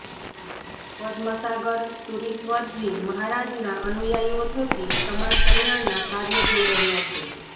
પદ્મસાગર સૂરીશ્વરજી મહારાજના અનુયાયીઓ થકી સમાજ કલ્યાણના કાર્યો થઇ રહ્યા છે